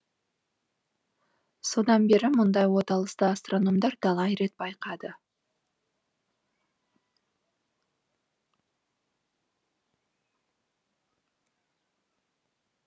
содан бері мұндай оталысты астрономдар талай рет байқады